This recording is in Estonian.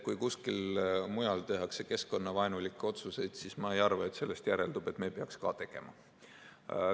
Kui kuskil mujal tehakse keskkonnavaenulikke otsuseid, siis ma ei arva, et sellest järeldub, et me peaks ka tegema.